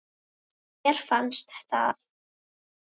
Eða mér finnst það.